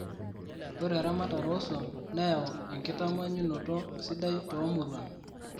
Ore eramatare oo swam neyau orkitamanyunoto sidai too muruan